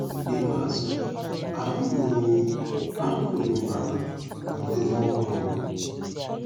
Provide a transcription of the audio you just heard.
N'ikpeazụ, ahụ́ ruru ahụ́ ruru m ala n'ọdịdị ọhụrụ m.